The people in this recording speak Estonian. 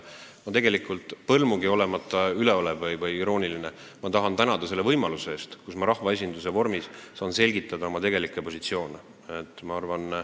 Ma tegelikult, põrmugi olemata üleolev või irooniline, tahan tänada selle võimaluse eest, et ma rahvaesinduse ees saan selgitada oma tegelikke positsioone.